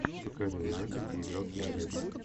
покажи варианты где играл киану ривз